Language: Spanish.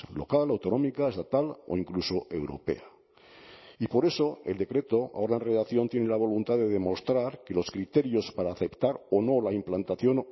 local autonómica estatal o incluso europea y por eso el decreto ahora en redacción tiene la voluntad de demostrar que los criterios para aceptar o no la implantación